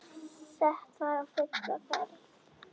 Sett var á fulla ferð.